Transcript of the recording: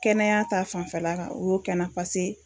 Kɛnɛya ta fanfɛla ka u y'o kɛ n na pase